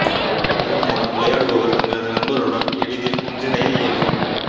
இதன் மூலம் விளையாடுபவர் தங்களது நண்பர்களுடன் எளிதில் ஒன்றிணைய இயலும்